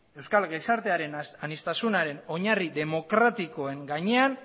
euskal gizartearen aniztasunaren oinarri demokratikoen gainean